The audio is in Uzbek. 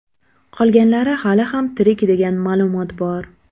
Qolganlari hali ham tirik degan ma’lumot bor.